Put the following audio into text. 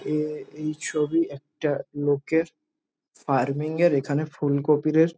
এই এই ছবি একটা লোকের ফার্মিংয় এর এখানে ফুলকপিদের।